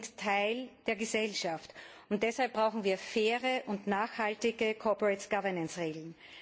Nein, sie sind Teil der Gesellschaft. Deshalb brauchen wir faire und nachhaltige Regeln.